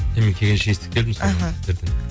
мен келгенше естіп келдім аха